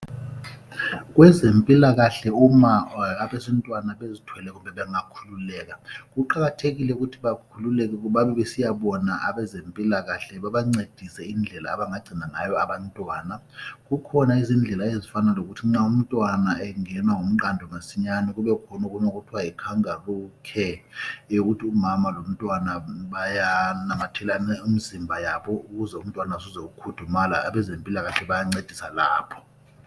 Kwezempilakahle uma abesintwana bezithwele kumbe bangakhululeka kuqakathekile ukuthi bakhululeke babebesiyabona abezempilakahle babancedise indlela abangagcina ngayo abantwana. Kukhona izindlela ezifana lokuthi nxa umntwana engenwa ngumqando masinyane kubekhona okunye okuthiwa yi Kangaroo care yokuthi umama lomntwana bayanamathelana imizimba yabo ukuze umntwana azuze ukukhudumala, abezempilakahle bayancedisa lapho